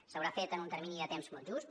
s’haurà fet en un termini de temps molt just